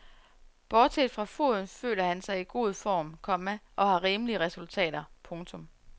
Bortset fra foden føler han sig i god form, komma og har rimelige resultater. punktum